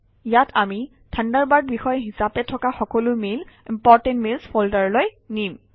ইয়াত আমি থাণ্ডাৰবাৰ্ড বিষয় হিচাপে থকা সকলো মেইল ইম্পৰ্টেণ্ট মেইলছ ফল্ডাৰলৈ নিম